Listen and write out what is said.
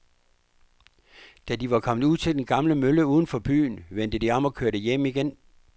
Da de var kommet ud til den gamle mølle uden for byen, vendte de om og kørte hjem igen.